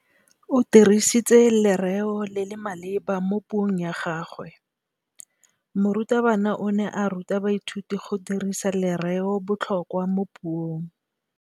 O dirisitse lerêo le le maleba mo puông ya gagwe. Morutabana o ne a ruta baithuti go dirisa lêrêôbotlhôkwa mo puong.